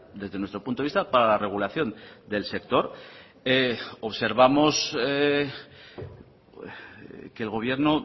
desde nuestro punto de vista para la regulación del sector observamos que el gobierno